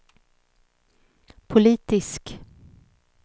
politisk